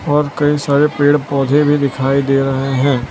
और कई सारे पेड़ पौधे भी दिखाई दे रहे है।